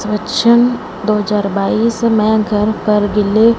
वच्चन दो हजार बाइस में घर पर भी ले--